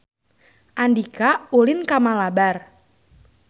Andika ulin ka Malabar